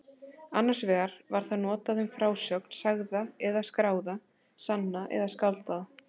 Annars vegar var það notað um frásögn, sagða eða skráða, sanna eða skáldaða.